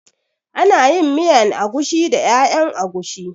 Ana yin miyan agushi da ƴaƴan agushi